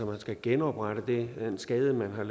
man skal genoprette den skade man